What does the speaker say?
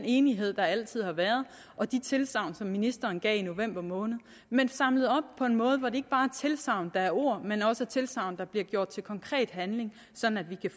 enighed der altid har været og de tilsagn som ministeren gav i november måned men samlet op på en måde hvor det ikke er tilsagn der er ord men også er tilsagn der bliver gjort til konkret handling sådan at vi